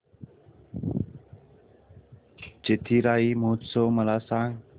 चिथिराई महोत्सव मला सांग